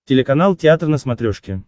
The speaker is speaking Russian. телеканал театр на смотрешке